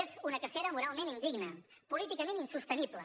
és una cacera moralment indigna políticament insostenible